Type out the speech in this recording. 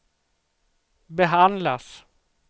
behandlas